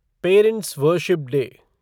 parents' worship day